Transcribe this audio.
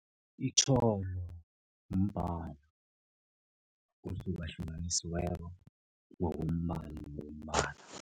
Itjholo mbalo ohlukahlukanisiweko ngokombala nombala.